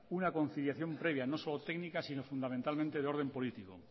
una conciliación previa no solo técnica sino fundamentalmente de orden político